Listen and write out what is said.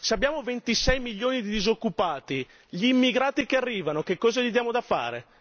Se abbiamo 26 milioni di disoccupati, gli immigrati che arrivano che cosa gli diamo da fare?